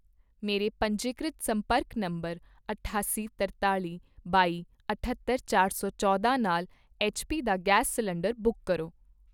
ਮੇਰੇ ਪੰਜੀਕ੍ਰਿਤ ਸੰਪਰਕ ਨੰਬਰ ਅਠਾਸੀ ਤਰਤਾਲੀ ਬਾਈ ਅਠੱਤਰ ਚਾਰ ਸੌ ਚੌਦਾਂ ਨਾਲ ਐੱਚ ਪੀ ਦਾ ਗੈਸ ਸਿਲੰਡਰ ਬੁੱਕ ਕਰੋ।